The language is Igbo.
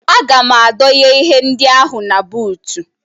Aga m adọnye ihe ndị ahụ na buutu